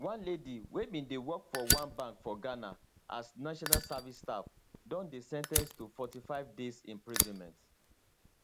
one lady wey bin dey work for one bank for ghana as national service staff don dey sen ten ced to forty five days imprisonment